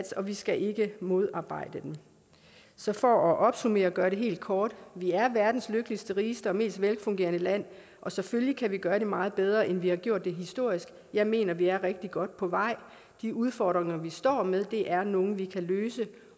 og vi skal ikke modarbejde den så for at opsummere og gøre det helt kort vi er verdens lykkeligste rigeste og mest velfungerende land og selvfølgelig kan vi gøre det meget bedre end vi har gjort det historisk jeg mener vi er rigtig godt på vej de udfordringer vi står med er nogle vi kan løse